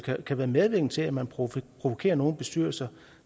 kan være medvirkende til at man provokerer nogle bestyrelser